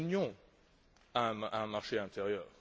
Seule l'Union a un marché intérieur.